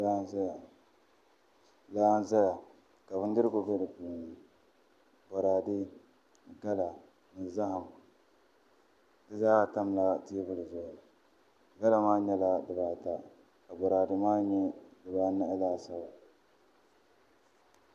Laa n ʒɛya ka bindirigu bɛ di puuni boraadɛ gala ni zaham di zaa tamla teebuli zuɣu gala maa nyɛla dibata ka boraadɛ maa nyɛ dibanahi laasabu